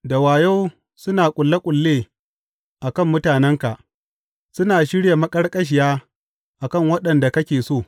Da wayo suna ƙulle ƙulle a kan mutanenka; suna shirya maƙarƙashiya a kan waɗanda kake so.